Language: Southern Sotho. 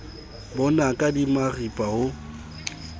bo naka di maripa ho